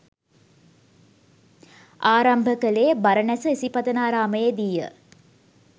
ආරම්භ කළේ බරණැස ඉසිපතනාරාමයේදීය.